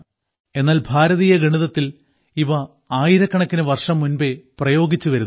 എന്നാൽ ഭാരതീയ ഗണിതത്തിൽ ഇവ ആയിരക്കണക്കിനു വർഷം മുൻപേ പ്രയോഗിച്ചു വരുന്നുണ്ട്